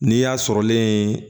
Ni y'a sɔrɔlen